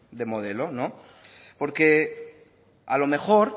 de modelo porque a lo mejor